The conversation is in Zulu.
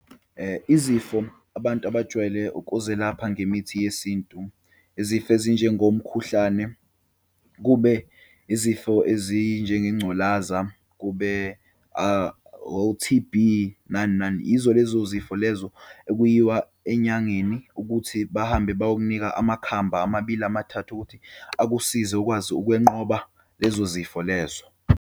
Izifo abantu abajwayele ukuzelapha ngemithi yesintu, izifo ezinjengomkhuhlane, kube izifo ezinjengengculaza, kube o-T_B, nani nani. Yizo lezo zifo lezo, ekuyiwa enyangeni ukuthi bahambe bayokunika amakhambi amabili, amathathu ukuthi akusize ukwazi ukwenqoba lezo zifo lezo.